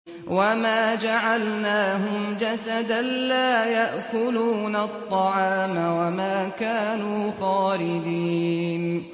وَمَا جَعَلْنَاهُمْ جَسَدًا لَّا يَأْكُلُونَ الطَّعَامَ وَمَا كَانُوا خَالِدِينَ